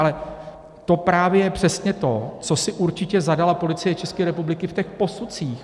Ale to právě je přesně to, co si určitě zadala Policie České republiky v těch posudcích.